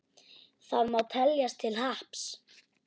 Það má teljast til happs.